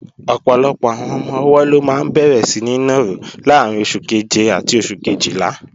Ọ̀pọ̀lọpọ̀ àwọn ọmọ-ọwọ́ ló máa bẹ̀rẹ̀ síní nàró láàrín oṣù keje àti oṣù kejìlá